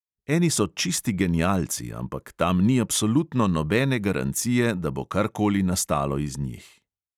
Eni so čisti genialci, ampak tam ni absolutno nobene garancije, da bo karkoli nastalo iz njih.